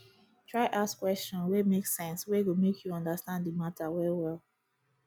try ask question wey mek sense wey go mek yu understand the mata well well